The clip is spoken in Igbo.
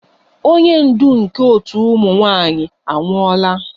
Onye ndu nke otu ụmụ nwanyị anwụọla